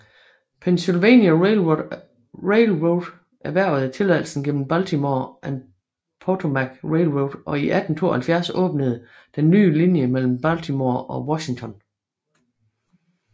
Pennsylvania Railroad erhvervede tilladelsen gennem Baltimore and Potomac Railroad og i 1872 åbnede den nye linje mellem Baltimore og Washington